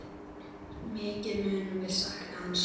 Mikið munum við sakna hans.